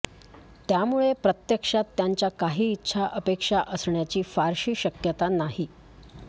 त्यामुळे प्रत्यक्षात त्यांच्या काही इच्छा अपेक्षा असण्याची फारशी शक्यता नाही